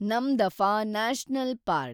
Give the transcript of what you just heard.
Namdapha national park